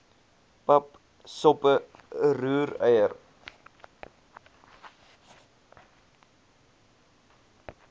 pap soppe roereier